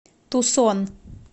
тусон